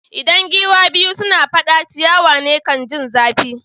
Idan giwa biyu suna fada, ciyawan ne kan ji zafi.